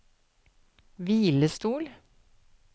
hvilestol